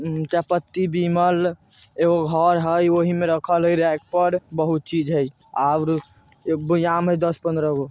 चायपत्ती बिमल एगो घर हई वही में रखल हई रैक पर बहुत चीज है और बोएयाम हई दस-पंद्रगो।